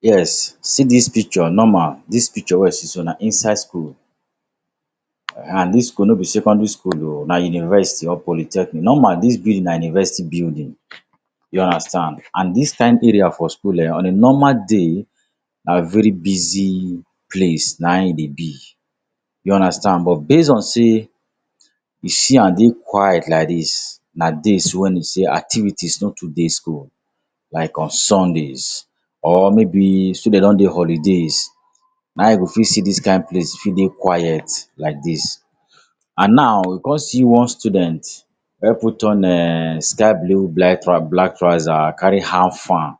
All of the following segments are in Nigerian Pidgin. Yes, see dis picture normal. Dis picture wey you see so na inside school. And dis school no be secondary school o. Na university or polytechnic. Normal dis building na university building. You understand. And dis kind area for school um on a normal day, na very busy place na in dey be. You understand. But, based on sey you see am dey quiet like dis, na days wen be sey activities no too dey school, like on Sundays, or maybe students don dey holidays na you go fit see dis kind place wey dey quiet like dis. And now you come see one student wey put on um sky blue black trouser, carry hand fan.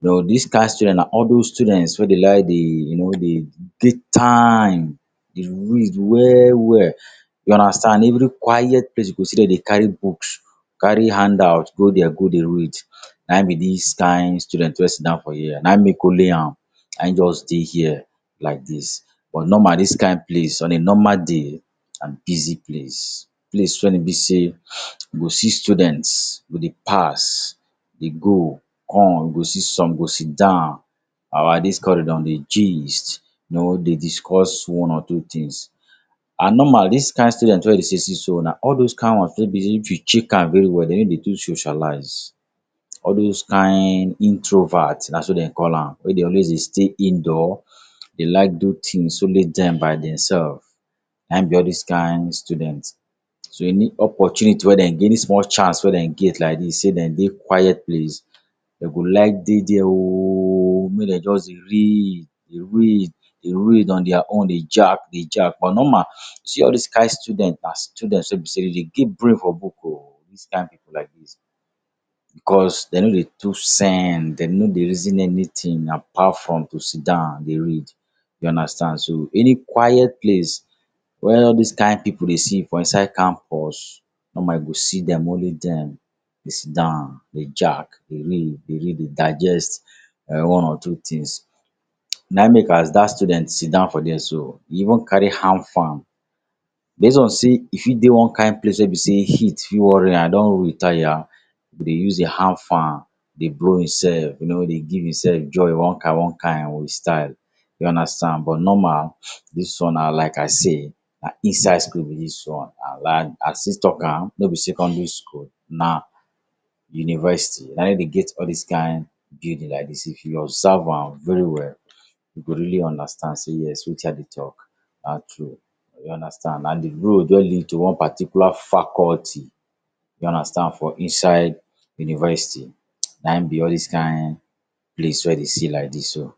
You know, dis kind student na all those students wey dey like dey you know dey take time dey read well well. You understand. Na every quiet place you go see dem dey carry books, carry handout go there go dey read, na in be dis kind student wey sit down for here. Na make only am na just dey here like dis. But, normal dis kind place on a normal day na busy place. Place wen e be sey you go see students go dey pass, dey go, come. You go see some go sit down dey gist, you know, dey discuss one or two things. And normal dis kind student wey you dey see so na all those kind ones wey be sey if you check am well well, dem no dey too socialize. All those kind introvert, na so dem call am, wey dey always dey stay indoor, dey like do things only dem by their self, na be all these kind student. So, any opportunity wey dem get, any small chance wey dem get like dis sey dem dey quiet place, dem go like dey there o make dem just dey read, dey read, dey read on their own, dey jack, dey jack. But, normal, see all those kind student na students wey be sey dem dey get brain for book o, all those kind pipu like dis, because dem no dey too send. Dem no dey reason anything apart from to sit down dey read. You understand. So, any quiet place where all these kind pipu dey see for inside campus, normal you go see dem, only dem, dey sit down, dey jack, dey read, dey read, dey digest one or two things. Na in make as that student sit down for there so, e even carry hand fan, based on sey e fit dey one kind place wey be sey heat fit worry am, e don read tire, e go dey use dey hand fan dey blow im self. You know, go dey give im self joy one kind one kind with style. You understand. But, normal, dis one na like I say, na inside school be dis one. And I still talk am, no be secondary school, na university na dey get all dis kind building like dis. If you observe am very well, you go really understand sey yes, wetin I dey talk na true. You understand. Na di road wey lead to one particular faculty you understand, for inside university na be all dis kind place wey you dey see like dis so.